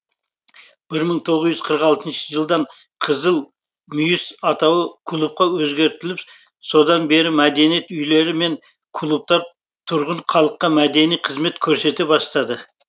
бір мың тоғыз жүз қырық алтыншы жылдан қызыл мүйіс атауы клубқа өзгертіліп содан бері мәдениет үйлері мен клубтар тұрғын халыққа мәдени қызмет көрсете бастады